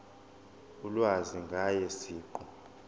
ulwazi ngaye siqu